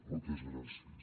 moltes gràcies